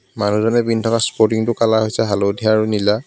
মানুহজনে পিন্ধি থকা স্পৰ্টিং টো কালাৰ হৈছে হালধীয়া আৰু নীলা.